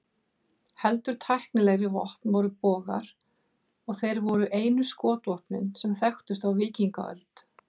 Heldur tæknilegri vopn voru bogar, og þeir voru einu skotvopnin sem þekktust á víkingaöld.